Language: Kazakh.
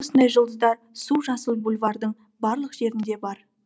осындай жұлдыздар су жасыл бульвардың барлық жерінде бар